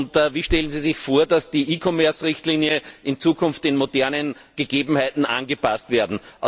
Und wie stellen Sie sich vor, dass die e Commerce Richtlinie in Zukunft den modernen Gegebenheiten angepasst wird?